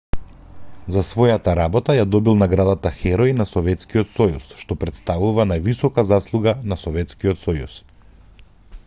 за својата работа ја добил наградата херој на советскиот сојуз што претставува највисока заслуга на советскиот сојуз